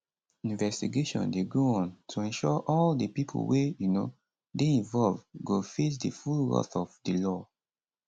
investigation dey go on to ensure all di pipo wey um dey involved go face di full wrath of di law